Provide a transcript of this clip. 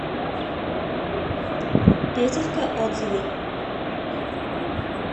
петелька отзывы